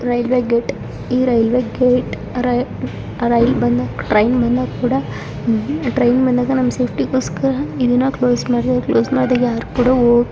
Railway gate ಈ railway gate rail ಬಂದಾಗ train ಬಂದಾಗ ಕೂಡ ಟ್ರೈನ್ ಬಂದಾಗ ನಮ್ಮ ಸೇಫ್ಟಿ ಗೋಸ್ಕರ ಇದನ್ನು ಕ್ಲೋಸ್ ಮಾಡುತ್ತಾರೆ. ಮಾಡಿ ಯಾರು ಕೂಡ --